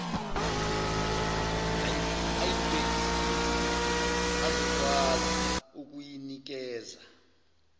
ayibhekisise azokwazi ukuyinikeza